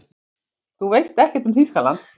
Þú veist ekkert um Þýskaland.